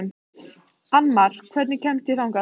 Annmar, hvernig kemst ég þangað?